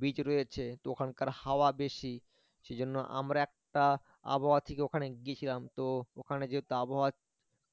beach রয়েছে তো ওখানকার হাওয়া বেশি সেজন্য আমরা একটা আবহাওয়া থেকে ওখানে গেছিলাম তো ওখানে যেহেতু আবহাওয়ার